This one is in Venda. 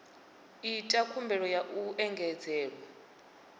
ita khumbelo ya u engedzelwa